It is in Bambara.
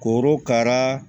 Korokara